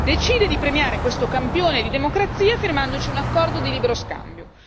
Decide di premiare questo campione di democrazia, firmandoci un accordo di libero scambio.